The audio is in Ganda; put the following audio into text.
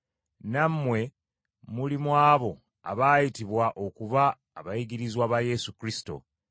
Nammwe muli mu abo abaayitibwa okuba abayigirizwa ba Yesu Kristo.